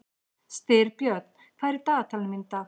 Styrbjörn, hvað er á dagatalinu mínu í dag?